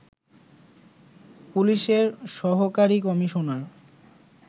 পুলিশের সহকারী কমিশনার